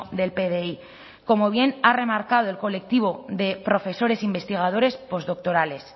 del pdi como bien ha remarcado el colectivo de profesores investigadores postdoctorales